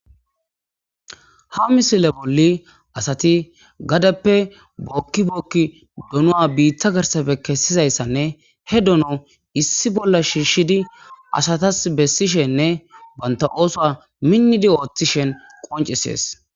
ha misile bolli asati gadeppe bookkibookki donua biitta garsafe kessizayssanne he dono issi bolla shiishshidi asatas bessishenne banta ooso minnidi ooththishen qoncisees